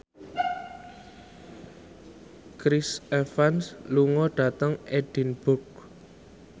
Chris Evans lunga dhateng Edinburgh